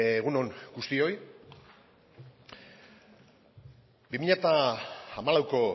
egun on guztioi bi mila hamalauko